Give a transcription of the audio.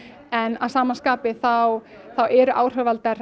en að sama skapi eru áhrifavaldar